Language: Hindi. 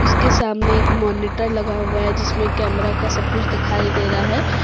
उसके सामने एक मॉनिटर लगा हुआ है जिसमें कैमरा का सब कुछ दिखाई दे रहा है।